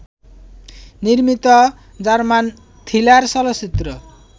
নির্মিত German thriller চলচ্চিত্র